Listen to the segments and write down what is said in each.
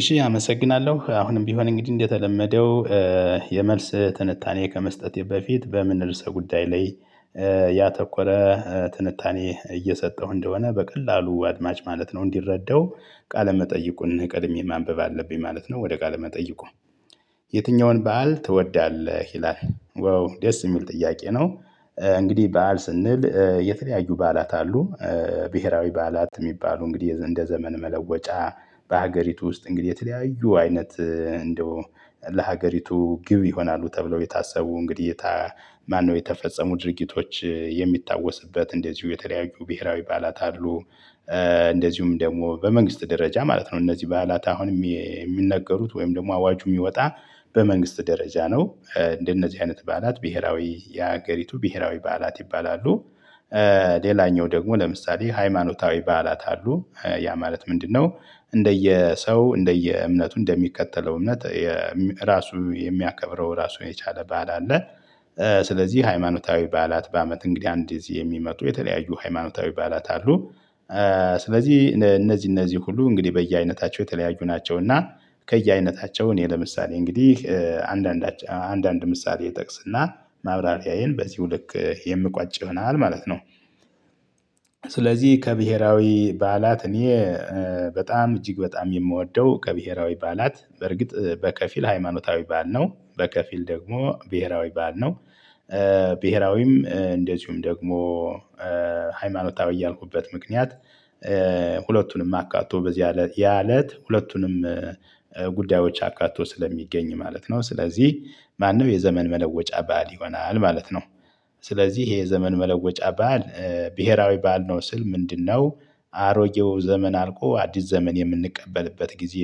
እሺ አመሰግናለሁ። አሁንም ቢሆን እንግዲህ እንደተለመደው የመልስ ትንታኔ ከመስጠቴ በፊት በምን ርዕሰ ጉዳይ ላይ ያተኮረ ትንታኔ እየሰጠው እንደሆነ በቀላሉ አድማጭ ማለት ነው እንዲረዳው ቃለመጠይቁን ቀድሜ ማንበብ አለብኝ ማለት ነው ወደ ቃለመጠይቁ የትኛውን በዓል ትወዳለህ? ይላል ዋው ደስ የሚል ጥያቄ ነው። እንግዲህ በዓል ስንል የተለያዩ በዓላት አሉ። ብሄራዊ በዓላት ሚባሉ እንግዲህ እንደ ዘመን መለወጫ በሀገሪቱ ውስጥ እንግዲህ የተለያዩ አይነት እንደው ለሀገሪቱ ግብ ይሆናሉ ተብለው የታሰቡ እንግዲህ ታ ማነው የተፈጸሙ ድርጊቶች የሚታወስበት እንደዚሁ የተለያዩ ብሄራዊ በዓላት አሉ። እንደዚሁም ደግሞ በመንግስት ደረጃ ማለት ነው እነዚህ በዓላት አሁንም ሚነገሩት ወይም ደግሞ አዋጁ ሚወጣ በመንግስት ደረጃ ነው። እንደነዚህ አይነት በዓላት ብሄራዊ የሀገሪቱ ብሄራዊ በዓላት ይባላሉ። ሌላኛው ደግሞ ለምሳሌ ሃይማኖታዊ በዓላት አሉ። ያ ማለት ምንድነው እንደየሰው እንደየእምነቱ እንደሚከተለው እምነት ራሱ የሚያከብረው ራሱን የቻለ በዓል አለ። ስለዚህ ሃይማኖታዊ በዓላት በአመት እንግዲ አንድ ጊዜ የሚመጡ የተለያዩ ሃይማኖታዊ በዓላት አሉ። ስለዚህ እነዚህ እነዚህ ሁሉ እንግዲህ በየአይነታቸው የተለያዩ ናቸው እና ከየአይነታቸው እኔ ለምሳሌ እንግዲህ አንዳንድ አንዳንድ ምሳሌ እጠቅስና ማብራሪያዬን በዚሁ ልክ የምቋጭ ይሆናል ማለት ነው። ስለዚህ ከብሄራዊ በዓላት እኔ በጣም እጅግ በጣም የምወደው ከብሄራዊ በዓላት በርግጥ በከፊል ሃይማኖታዊ በዓል ነው በከፊል ደግሞ ብሄራዊ በዓል ነው። ብሄራዊም እንደዚሁም ደግሞ ሃይማኖታዊ ያልኩበት ምክንያት ሁለቱንም አካቶ በዚህ እለት ያ እለት ሁለቱንም ጉዳዮች አካቶ ስለሚገኝ ማለት ነው። ስለዚህ ማነው የዘመን መለወጫ በዓል ይሆናል ማለት ነው። ስለዚህ ይሄ የዘመን መለወጫ በዓል ብሄራዊ በዓል ነው ስል ምንድነው አሮጌው ዘመን አልቆ አዲስ ዘመን የምንቀበልበት ጊዜ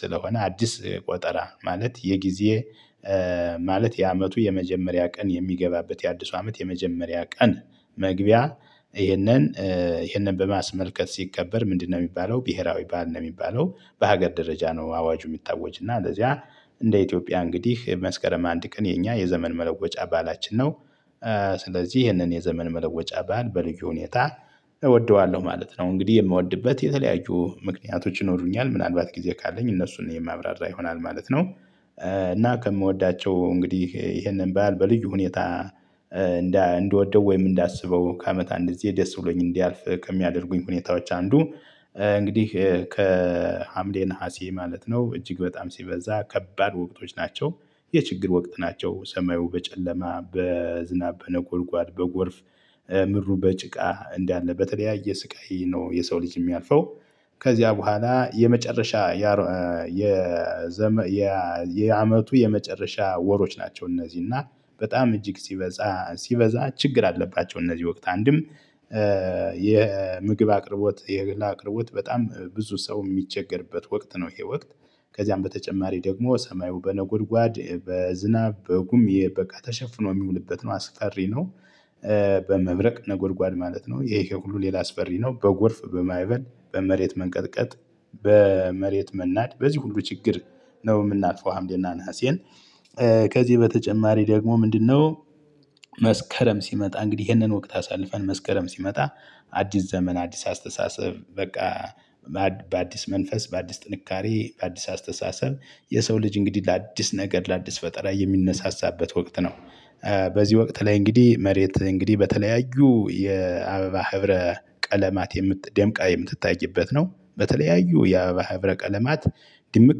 ስለሆነ አዲስ ቆጠራ ማለት የጊዜ ማለት የአመቱ የመጀመሪያ ቀን የሚገባበት የአዲሱ አመት የመጀመሪያ ቀን መግቢያ ይሄንን ይሄንን በማስመልከት ሲከበር ምንድነው ሚባለው ብሄራዊ በዓል ነው ሚባለው በሀገር ደረጃ ነው አዋጁ የሚታወጅ እና እንደዚያ እንደ ኢትዮጵያ እንግዲህ መስከረም አንድ ቀን የኛ የዘመን መለወጫ በዓላችን ነው። ስለዚህ ይህንን የዘመን መለወጫ በዓል በልዩ ሁኔታ እወደዋለሁ ማለት ነው። እንግዲህ የምወድበት የተለያዩ ምክንያቶች ይኖሩኛል ምናልባት ጊዜ ካለኝ እነሱን የማብራራ ይሆናል ማለት ነው። እና ከምወዳቸው እንግዲህ ይሄንን በዓል በልዩ ሁኔታ እንደ እንድንወደው ወይም እንዳስበው ከአመት አንድ ጊዜ ደስ ብሎኝ እንዲያልፍ ከሚያደርጉኝ ሁኔታዎች አንዱ እንግዲህ ከሀምሌ ነሀሴ ማለት ነው እጅግ በጣም ሲበዛ ከባድ ወቅቶች ናቸ፤ የችግር ወቅት ናቸው። ሰማዩ በጨለማ፣ በዝናብ በነጎድጓድ፣ በጎርፍ፣ ምድሩ በጭቃ እንዳለ በተለያየ ስቃይ ነው የሰው ልጅ ሚያልፈው ከዚያ በኋላ የመጨረሻ የዘመን የአመቱ የመጨረሻ ወሮች ናቸው። እነዚህ እና በጣም እጅግ ሲበዛ ሲበዛ ችግር አለባቸው እነዚህ ወቅት አንድም የምግብ አቅርቦት የእህል አቅርቦት በጣም ብዙ ሰው ሚቸገርበት ወቅት ነው ይሄ ወቅት ከዚያም በተጨማሪ ደግሞ ሰማዩ በነጎድጓድ በዝናብ በጉም ይሄ በቃ ተሸፍኖ ሚውልበት ነው አስፈሪ ነው። በመብረቅ ነጎድጓድ ማለት ነው ይሄ ይሄ ሁሉ ሌላ አስፈሪ ነው። በጎር፣ በማዕበል፣ በመሬት መንቀጥቀጥ በመሬት መናድ በዚህ ሁሉ ችግር ነው ምናልፈው ሀምሌና ነሀሴን ከዚህ በተጨማሪ ደግሞ ምንድነው መስከረም ሲመጣ እንግዲህ ይሄንን ወቅት አሳልፈን መስከረም ሲመጣ አዲስ ዘመን አዲስ አስተሳሰብ በቃ በአዲስ መንፈስ በአዲስ ጥንካሬ በአዲስ አስተሳሰብ የሰው ልጅ እንግዲህ ለአዲስ ነገር ለአዲስ ፈጠራ የሚነሳሳበት ወቅት ነው። በዚህ ወቅት ላይ እንግዲህ መሬት እንግዲህ በተለያዩ የአበባ ህብረ ቀለማት የምት ደምቃ የምትታይበት ነው በተለያዩ የአበባ ህብረ ቀለማት ድምቅ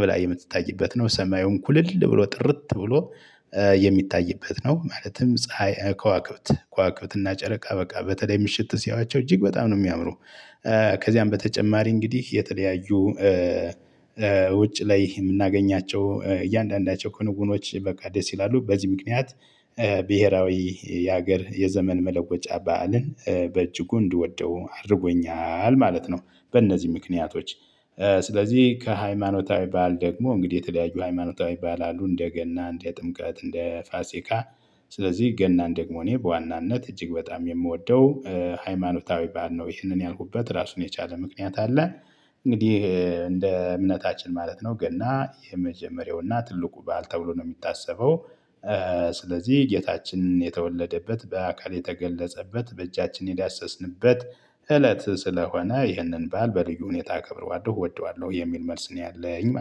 ብላ የምትታይበት ነው ሰማዩን ኩልል ብሎ ጥርት ብሎ የሚታይበት ነው ማለትም ፀሀይ ከዋክብት ከዋክብት እና ጨረቃ በቃ በተለይ ምሽት ሲያዩዋቸው እጅግ በጣም ነው ሚያምሩ ከዚያም በተጨማሪ እንግዲህ የተለያዩ ውጭ ላይ የምናገኛቸው እያንዳንዳቸው ክንውኖች በቃ ደስ ይላሉ በዚህ ምክንያት ብሄራዊ የሀገር የዘመን መለወጫ በዓልን በእጅጉ እንድወደው አድርጎኛል ማለት ነው። በእነዚህ ምክንያቶች ስለዚህ ከሃይማኖታዊ በዓል ደግሞ እንግዲህ የተለያዩ ሃይማኖታዊ በዓል አሉ እንደ ገና፣ እንደ ጥምቀት፣ እንደ ፋሲካ ስለዚህ ገናን ደግሞ እኔ በዋናነት እጅግ በጣም የምወደው ሃይማኖታዊ ባህል ነው ይህንን ያልኩበት ራሱን የቻለ ምክንያት አለ። እንግዲህ እንደ እምነታችን ማለት ነው ገና የመጀመሪያውና ትልቁ በዓል ተብሎ ነው ሚታሰበው ስለዚህ ጌታችን የተወለደበት በአካል የተገለጸበት በእጃችን የዳሰስንበት እለት ስለሆነ ይህንን ባል በልዩ ሁኔታ አከብረዋለው፤ እወደዋለሁ የሚል መልስ ነው ያለኝ።